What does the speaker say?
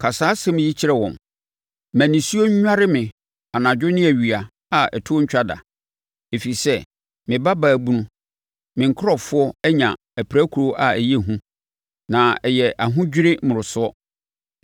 “Ka saa asɛm yi kyerɛ wɔn: “ ‘ma nisuo nnware me anadwo ne awia a ɛtoɔ ntwa da ɛfiri sɛ me babaa bunu, me nkurɔfoɔ anya apirakuro a ɛyɛ hu na ɛyɛ ahodwirie mmorosoɔ.